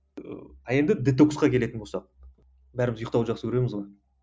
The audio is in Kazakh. а енді детоксқа келетін болсақ бәріміз ұйқтауды жақсы көреміз ғой